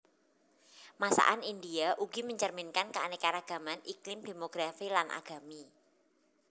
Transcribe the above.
Masakan India ugi mencerminkan keanekaragaman iklim demografi lan agami